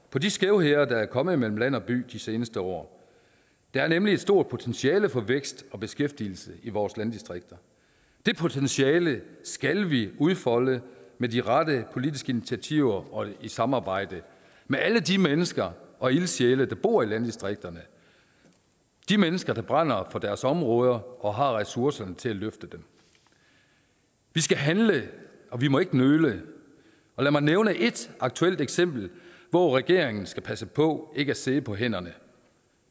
på de skævheder der er kommet mellem land og by de seneste år der er nemlig et stort potentiale for vækst og beskæftigelse i vores landdistrikter det potentiale skal vi udfolde med de rette politiske initiativer og i samarbejde med alle de mennesker og ildsjæle der bor i landdistrikterne de mennesker der brænder for deres områder og har ressourcerne til at løfte dem vi skal handle og vi må ikke nøle lad mig nævne et aktuelt eksempel hvor regeringen skal passe på ikke at sidde på hænderne